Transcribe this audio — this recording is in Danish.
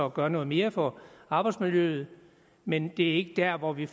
at gøre noget mere for arbejdsmiljøet men det er ikke der hvor vi